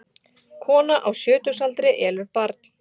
Kona á sjötugsaldri elur barn